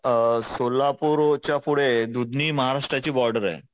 अ सोलापूर च्या पुढे दुधनी महाराष्ट्राची बॉर्डर.